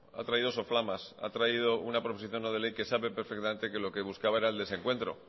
ha traído soflamas ha traído una proposición no de ley que sabe perfectamente que lo que buscaba era el desencuentro